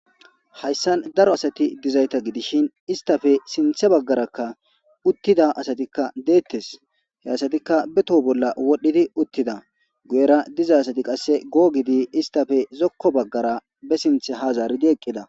hayssan daro asati dizayta gidishin istafe sinthe baggarakka uttida asatikka deettes he asatikka be toho bolla wodhdhidi uttida guyera diza asati qasse goo gidi istafe zokko baggara be sinthe ha zaaridi eqqida